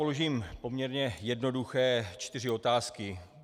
Položím poměrně jednoduché čtyři otázky.